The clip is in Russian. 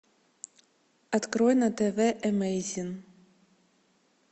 открой на тв эмэйзин